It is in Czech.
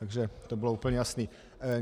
Takže to bylo úplně jasné.